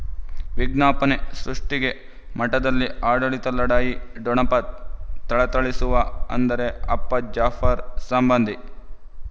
ವಿಜ್ಞಾಪನೆ ಸೃಷ್ಟಿಗೆ ಮಠದಲ್ಲಿ ಆಡಳಿತ ಲಢಾಯಿ ಠೊಣಪ ಥಳಥಳಿಸುವ ಅಂದರೆ ಅಪ್ಪ ಜಾಫರ್ ಸಂಬಂಧಿ